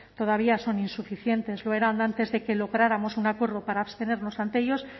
todavía son insuficientes lo eran antes de que lográramos un acuerdo para abstenernos ante ellos